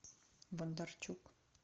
бондарчук